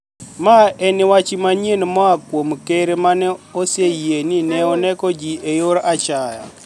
Ma eni wach maniyieni moa kuom ker ma oseyie nii ni e oni eko ji e yor achaya.